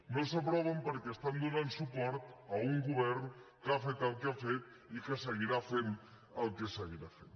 no s’aproven perquè estan donant suport a un govern que ha fet el que ha fet i que seguirà fent el que seguirà fent